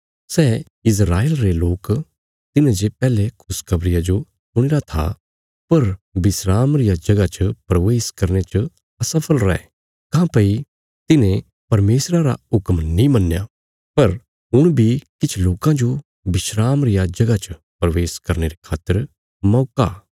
सै इस्राएल रे लोक तिन्हेंजे पैहले खुशखबरिया जो सुणीरा था पर विस्राम रिया जगह च प्रवेश करने च असफल रै काँह्भई तिन्हें परमेशरा रा हुक्म नीं मन्नया पर हुण बी किछ लोकां जो विस्राम रिया जगह च प्रवेश करने रे खातर मौका